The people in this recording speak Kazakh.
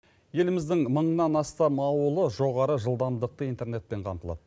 еліміздің мыңнан астам ауылы жоғары жылдамдықты интернетпен қамтылады